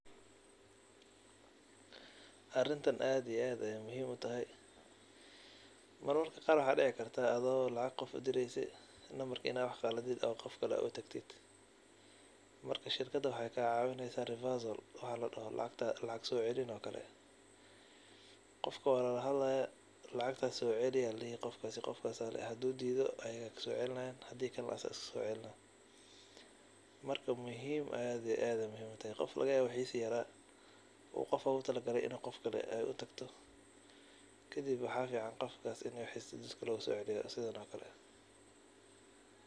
Arintan aad iyo aad ayey muhhim utahay , mararka qar waxa dici karta adigo lacag direysid in ad qaladid oo qof kale ey utagto marka shirkada wexey kacawineysa reversal wax ladoho oo lacag socelin oo kale. Qofka walahadlaya lacagtas sceli aya ladihi hadu dido ayaga aya socelinayin hadi kalena asaga iskasocelina marka aad iyo aad ayey muhiim utahay qof aya lagayawa in wixisi yara oo qof ogutalagale in ey qof kale utagto kadib waxa fican in qofka wixisa losoceliyo sidano kale.